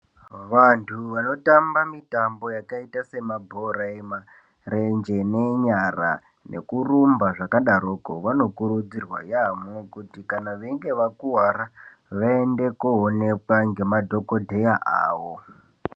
Vanhu vanotamba mitambo yakaita semabhora emarenje nenyara nekurumba zvakadaroko vanokurudzirwa yamho kuti kana veinge vakuwara vaende koonekwa ngemadhokodheya awo.